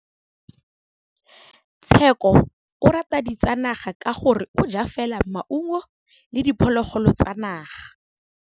Tshekô o rata ditsanaga ka gore o ja fela maungo le diphologolo tsa naga.